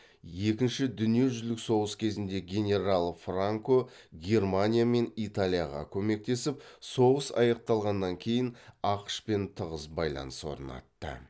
екінші дүниежүзілік соғыс кезінде генерал франко германия мен италияға көмектесіп соғыс аяқталғаннан кейін ақш пен тығыз байланыс орнатты